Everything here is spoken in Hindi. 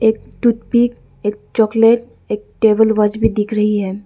एक टूथ पिक एक चॉकलेट एक टेबल वॉच भी दिख रही है।